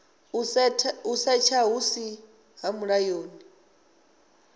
u setsha hu si mulayoni